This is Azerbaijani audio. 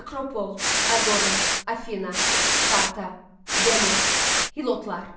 Akropol, Aqora, Afina, Sparta, Demos, Hilotlar.